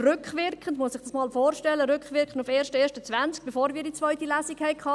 Man muss sich dies einmal vorstellen, rückwirkend auf den 1. Januar 2020, bevor wir die zweite Lesung hatten.